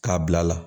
K'a bila a la